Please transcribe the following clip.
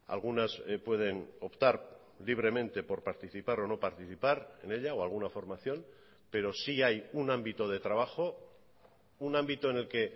algunas pueden optar libremente por participar o no participar en ella o alguna formación pero sí hay un ámbito de trabajo un ámbito en el que